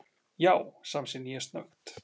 Já, samsinni ég snöggt.